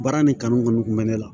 Baara nin kanu kɔni kun bɛ ne la